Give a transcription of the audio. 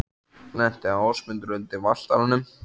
Lenti Ásmundur undir Valtaranum?